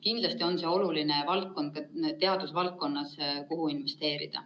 Kindlasti on see oluline valdkond teaduses, kuhu investeerida.